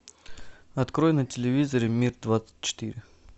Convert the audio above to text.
открой на телевизоре мир двадцать четыре